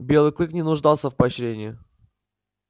белый клык не нуждался в поощрении